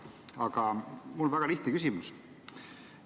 Aga mul on väga lihtne küsimus.